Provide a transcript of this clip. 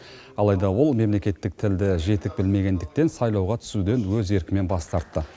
алайда ол мемлекеттік тілді жетік білмегендіктен сайлауға түсуден өз еркімен бас тартты